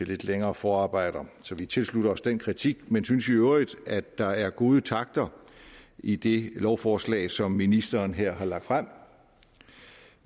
lidt længere forarbejde så vi tilslutter os den kritik men synes i øvrigt at der er gode takter i det lovforslag som ministeren her har lagt frem